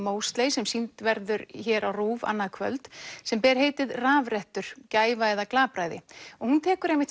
sem sýnd verður hér á Rúv annað kvöld sem ber heitið rafrettur gæfa eða glapræði og hún tekur einmitt